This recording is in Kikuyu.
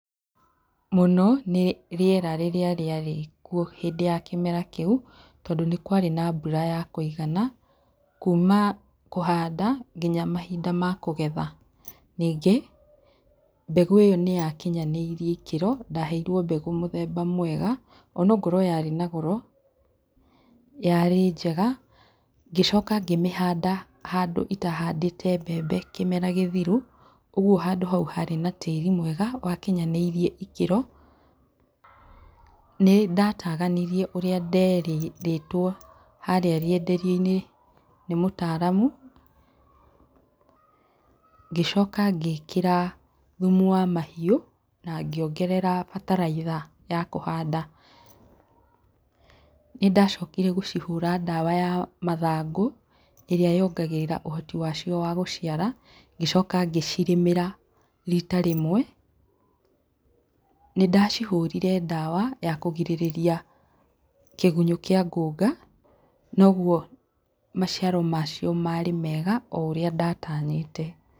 Mũno nĩ rĩera rĩrĩa rĩarĩ kwo hĩndĩ ya kĩmera kĩu, tondũ nĩ kwarĩ na mbura ya kũigana, kuma kũhanda nginya mahinda ma kũgetha, ningĩ mbegũ ĩyo nĩ ya kinyanĩĩrie ikĩro, ndaheirwo mbegũ mũthemba mwega, onokorwo yarĩ na goro yarĩ njega, ngĩcoka ngĩmĩhanda handũ itahandĩte mbembe kĩmera gĩthiru, ũguo handũ hau harĩ na tĩri mwega wakinyanĩirie ikĩro. Nĩ ndataganirie ũrio nderĩtwo harĩa rĩenderio - inĩ nĩ mũtaramu, ngĩcoka ngĩkĩra thumu wa mahiu na ngĩongerera bataraitha ya kũhanda, nĩ ndacokire gũcihura ndawa ya mathangũ ĩria yongagĩrĩra ũhoti wacio wa gũciara, ngĩcoka ngĩcirĩmĩra rita rĩmwe. Nĩ ndacihũrire ndawa ya kũgirĩrĩria kĩgunyo kĩa ngũnga, noguo maciaro macio marĩ mega, o ũria ndatanyĩte.